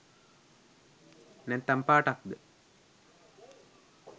නැත්තන් පාටක්ද?